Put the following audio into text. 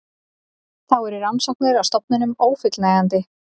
Þá eru rannsóknir á stofninum ófullnægjandi